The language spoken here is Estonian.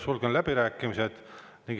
Sulgen läbirääkimised.